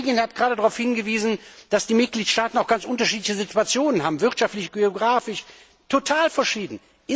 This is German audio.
Die Kollegin hat gerade darauf hingewiesen, dass die Mitgliedstaaten auch ganz unterschiedliche Situationen haben, wirtschaftlich, geografisch, total verschieden.